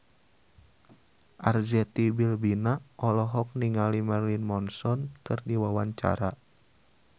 Arzetti Bilbina olohok ningali Marilyn Manson keur diwawancara